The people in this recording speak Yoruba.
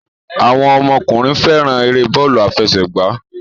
Àwọn ọmọkùnrin fẹ́ràn eré bọ́ọ́lù-afẹsẹ̀gbá.